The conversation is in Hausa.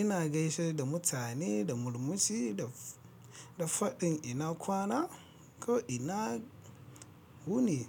Ina gaishe da mutane da murmushi da, da faɗin ina kwana ko ina wuni.